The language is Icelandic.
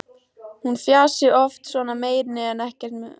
Hún fjasi oft svona en meini ekkert með því.